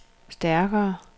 stærkere